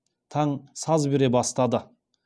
таң саз бере бастады